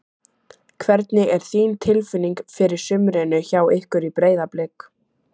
Hvernig er þín tilfinning fyrir sumrinu hjá ykkur í Breiðablik?